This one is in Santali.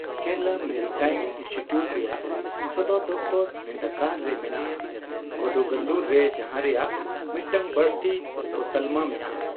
ᱠᱮᱨᱟᱞᱟ ᱢᱮᱨᱤᱴᱟᱭᱤᱢ ᱤᱱᱥᱴᱤᱴᱤᱩᱭᱴ ᱨᱮᱭᱟᱜ ᱥᱚᱫᱚᱨ ᱫᱚᱯᱷᱛᱚᱨ ᱱᱤᱱᱫᱟᱠᱟᱨ ᱨᱮ ᱢᱮᱱᱟᱜᱼᱟ, ᱠᱳᱫᱩᱝᱜᱟᱞᱞᱩᱨ ᱨᱮ ᱡᱟᱦᱟ ᱨᱮᱭᱟᱜ ᱢᱤᱫᱴᱟᱝ ᱵᱟᱹᱲᱛᱤ ᱩᱯᱚᱛᱟᱞᱢᱟ ᱢᱮᱱᱟᱼᱟ ᱾